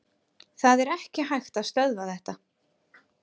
Það er ekki hægt að stöðva þetta.